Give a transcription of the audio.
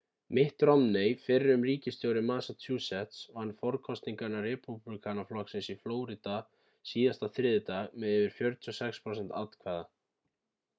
mitt romney fyrrum ríkisstjóri massachusetts vann forkosningar repúblikanaflokksins í flórída síðasta þriðjudag með yfir 46 prósent atkvæða